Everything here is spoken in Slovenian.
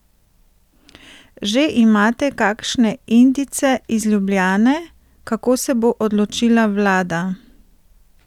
Že imate kakšne indice iz Ljubljane, kako se bo odločila vlada?